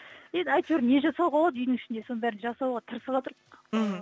енді әйтеуір не жасауға болады үйдің ішінде соны жасауға тырысыватырқ мхм